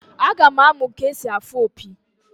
Aga m amụ ka-esi afụ opi